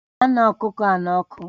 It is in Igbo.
Gaa ṅaa ọkụkọ n'ọkụ!